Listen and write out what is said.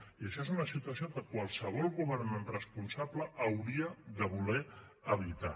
i això és una situació que qualsevol governant responsable hauria de voler evitar